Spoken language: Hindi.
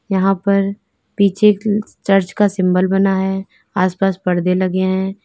यहां पर पीछे चर्च का सिंबल बना है आस पास परदे लगे हैं।